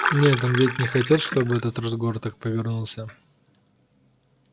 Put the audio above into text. нет он ведь не хотел чтобы этот разговор так повернулся